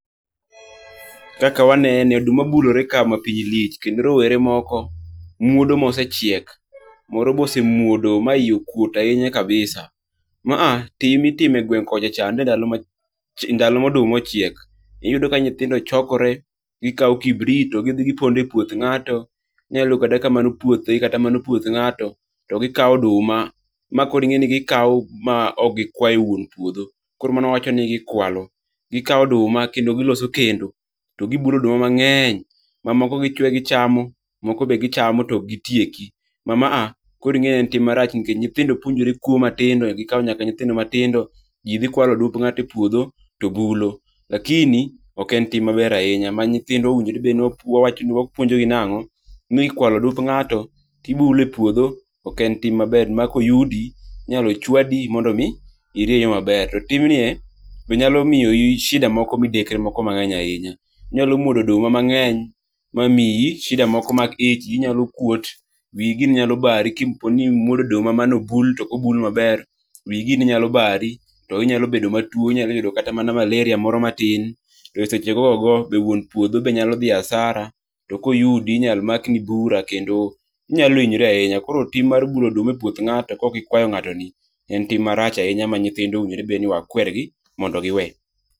Kaka wanene oduma bulore ka ma piny lich. Kendo rowere moko muodo mosechiek. Moro be osemuodo ma yie okuot ahinya kabisa. Ma a tim ma itime gueng' kocha cha ndalo moduma ochiek. Iyudo ka nyithindo chokore gikawo kibrit to gidhi gipondo e puoth ng'ato. Inyalo yudo kata ka mano puothgi kata ka mano puoth ng'ato. To gikawo oduma ma koro ing'e ni gikaw ma kok gikwayo wuon puodho. Koro mano wawacho ni gikwalo. Gikawo oduma kendo giloso kendo. To gibulo oduma mang'eny. Mamoko gichwe gichamo. Moko be gichamo to ok gitieki. Ma a koro ing'e en tim marach nikech nyithindo puonjore kuo matindo gikawo nyaka nyithindo matindo. Ji dhi kawalo odumb ng'ato e puodho to bulo. Lakini ok en tim maber ahinya. Ma nyithindwa owinjore onego bed ni wapuonjogi nang'o? Ni kwalo odumb ng'ato to ibulo e puodho ok en tim maber ma koyudi inyalo ochwadi mondo mi irie yo maber. To tim ni e be nyalo miyo i shida moko midekre moko mang'eny ahinya. Inyalo mwodo oduma mang'eny ma miyi shida moko mag ich. iyi nyalo kuot, wiyi gini nyalo bari ko opo ni imuodo oduma mane obul to ok obul maber, wiyi gini nyalo baro. To inyalo bedo matuo. Inyalo yudo kata mana malaria moro matin. To seche go ogo to wuon puodho be nyalo dhi asara. To koyudi inyalo mak ni bura kendo inyalo hinyori ahinya. Koro tim mar bulo oduma e puoth ng'ato ka ok ikwayo ng'ato en tim marach ahinya ma nyithindwa owinjore wakwer gi mondo gi we.